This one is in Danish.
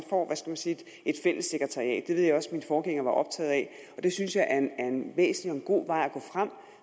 sige et fælles sekretariat det også at min forgænger var optaget af og det synes jeg er en væsentlig god vej at gå frem